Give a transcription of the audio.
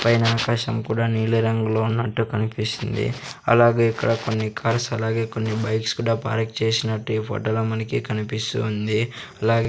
పైన ఆకాశం కూడా నీలి రంగులో ఉన్నట్టు కనిపిస్తుంది అలాగే ఇక్కడ కొన్ని కార్స్ అలాగే కొన్ని బైక్స్ కూడా పార్క్ చేసినట్టు ఈ ఫోటో లో మనకి కనిపిస్తూ ఉంది. అలాగే --